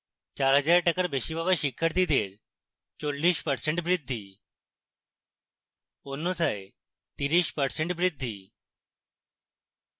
4000 টাকার বেশি পাওয়া শিক্ষার্থীদের 40% বৃদ্ধি! অন্যথায় 40% বৃদ্ধি